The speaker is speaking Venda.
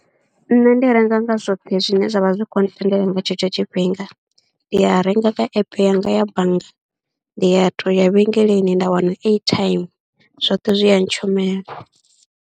Nṋe ndi renga nga zwoṱhe zwine zwa vha zwi khou ntendela nga tshetsho tshifhinga, ndi a renga kha app yanga ya bannga, ndi ya tou ya vhengeleni nda wana airtime, zwoṱhe zwi a ntshumela.